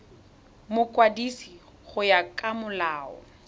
mokwadisi go ya ka molao